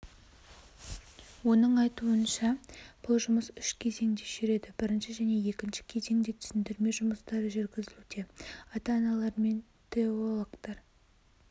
оның айтуынша бұл жұмыс үш кезеңде жүреді бірінші және екінші кезеңде түсіндірме жұмыстары жүргізілуде ата-аналармен теологтар